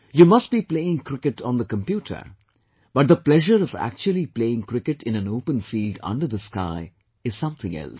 You must be playing cricket on the computer but the pleasure of actually playing cricket in an open field under the sky is something else